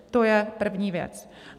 To je první věc.